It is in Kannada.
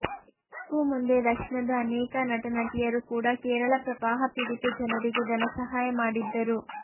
ಇದಕ್ಕೂ ಮುಂದೆ ದಕ್ಷಿಣದ ಅನೇಕ ನಟ ನಟಿಯರು ಕೂಡ ಕೇರಳ ಪ್ರವಾಹ ಪೀಡಿತ ಜನರಿಗೆ ಧನಸಹಾಯ ಮಾಡಿದ್ದರು